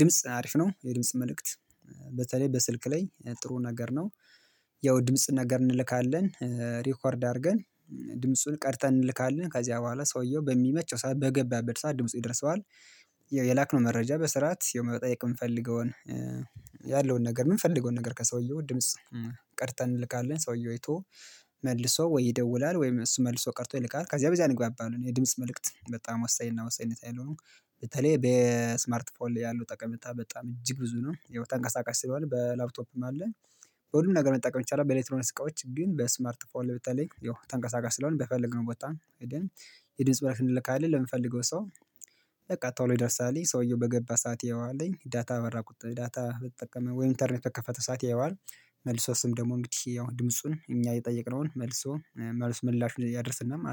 ድምጽ አሪፍ ነው የድምጽ መልእክት። በተለይ በስልክ ላይ ጥሩ ነገር ነው። ያው ድምጽ ነገር እንልካለን ሪኳርድ አድርገን ድምፁን ቀድተን እንልካለን ከዚያ በኋላ ሰውየው በሚመቸው ሰዓት በገበበት ሰዓት ድምፁ ይደርሰዋል። የላክነው መረጃ በስርዓት መጠየቅ የምፈልገውን ያለውን ነገር የምንፈልገውን ነገር ከሰውየው ድምጽ። ቀድተን እንልካለን ሰውየው አይቶ መልሶ ወይ ይደውላል ወይም እሱ መልሶ ቀድቶ ይልካል ከዚያ በዚህ እንግባባለን የድምጽ መልእክት በጣም ወሳኝና ወሳኝነት ያለው ነው። በተለይ በስማርት ፎን ላይ ያለው ጠቀሜታ በጣም እጅግ ብዙ ነው ያው ተንቀሳቃሽ ስለሆነ በላፕቶፕም አለ። በሁሉም ነገር መጠቀም ይቻላል በኤልክትሮንክስ እቃዎች ግን በስማርት ፎን ላይ በተለይ ያው ተንቀሳቃሽ ስለሆነ በፈለግነው ቦታ ወጣን። የድምጽ መልክት እንልካለን ለምንፈልገው ሰው በቃ ቶሎ ይደርሳል ሰውየው በገባ ሰዓት ያየዋል ዳታ በበራ ዳታ በተጠቀመ ወይም ኢንተርኔት በከፈተ ሰዓት ያየዋል። መልሶ እሱም ደግሞ እንግዲህ ያው ድምፁን እኛ የጠየቅነውን መልሶ መልሱ ምላሹን ያደርሰናል ማለት ነው